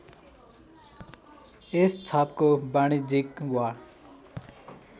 यस छापको वाणिज्यिक वा